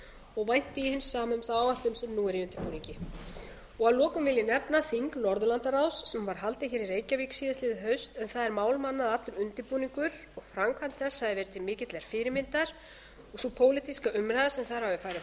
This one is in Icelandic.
og vænti ég hins sama um þá áætlun sem nú er í undirbúningi að lokum vil ég nefna þing norðurlandaráðs sem var haldið hér i reykjavík síðastliðið haust en það er mál manna að allur undirbúningur og framkvæmd þess hafi verið til mikillar fyrirmyndar og sú pólitíska umræða sem þar hafi farið